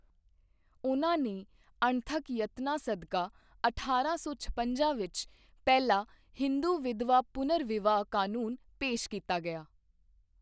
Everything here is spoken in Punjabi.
ਉਨ੍ਹਾਂ ਨੇ ਅਣਥੱਕ ਯਤਨਾਂ ਸਦਕਾ ਅਠਾਰਾਂ ਸੌ ਛਪੰਜਾ ਵਿਚ ਪਹਿਲਾ ਹਿੰਦੂ ਵਿਧਵਾ ਪੁਨਰ ਵਿਆਹ ਕਾਨੂੰਨ ਪੇਸ਼ ਕੀਤਾ ਗਿਆ।